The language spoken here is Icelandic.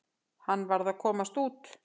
Hann varð að komast út.